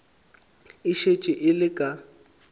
e šetše e le ka